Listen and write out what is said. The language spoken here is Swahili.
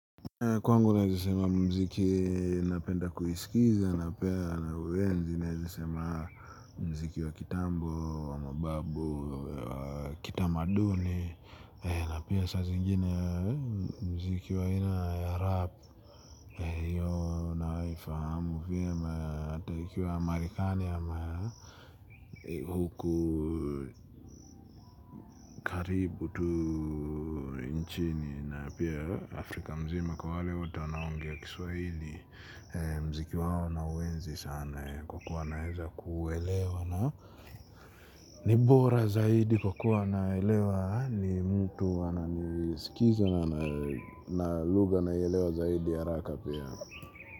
Kwangu naezasema mziki napenda kuisikiza napea na uezi naezasema mziki wa kitambo, wamababu, wa kitamaduni. Na pia sa zingine mziki wa ina ya rap hiyo naifahamu vyema hata ikiwa marikani ama huku karibu tu nchini na pia Afrika mzima kwa wale wote wanaongea kiswahili. Mziki wawo na uenzi sana kwa kuwa na weza kuwelewa na nibora zaidi kwa kuwa naelewa ni mtu wana nisikiza na lugha na ielewa zaidi haraka pia.